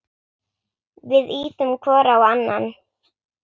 Við ýtum hvor á annan.